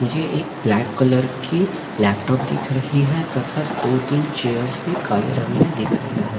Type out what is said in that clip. मुझे एक black colour की लैपटॉप दिख रही है तथा दो-तीन चेयर्स भी काले रंग में दिख रहे हैं।